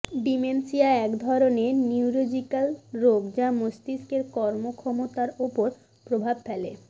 dementia এক ধরনের neurological রোগ যা মস্তিস্কের কর্মক্ষমতার ওপর প্রভাব ফেলে